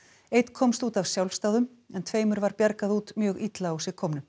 einn komst út af sjálfsdáðum en tveimur var bjargað út mjög illa á sig komnum